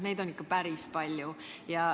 Neid on päris palju.